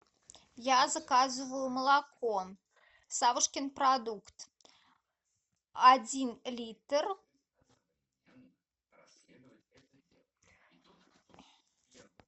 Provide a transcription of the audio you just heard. я заказываю молоко савушкин продукт один литр